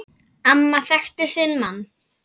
Amma þekkti sinn mann.